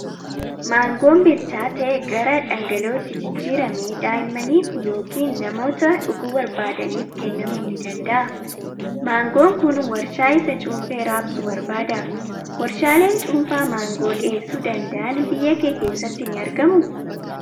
Maangoon bilchaate gara dhangala'ootti jijjiiramee daa'immaniif yookiin namoota dhuguu barbaadaniif kennamuu ni danda'a. Maangoon kun waarshaa isa cuunfee raabsu barbaada. Waarshaaleen cuunfaa maangoo dhiheessuu danda'an biyya kee keessatti ni argamuu?